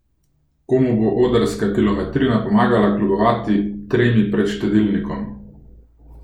Komu bo odrska kilometrina pomagala kljubovati tremi pred štedilnikom?